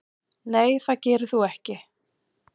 Nei það gerir þú ekki.